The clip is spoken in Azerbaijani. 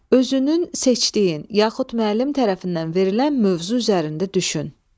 Özünün seçdiyin yaxud müəllim tərəfindən verilən mövzu üzərində düşün.